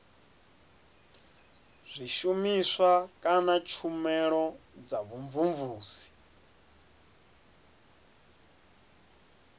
zwishumiswa kana tshumelo dza vhumvumvusi